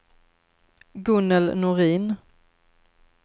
Gunnel Norin